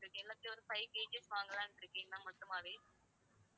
எல்லாத்துலயும் ஒரு five KG வாங்கலாம்னு இருக்கேன் ma'am மொத்தமாகவே.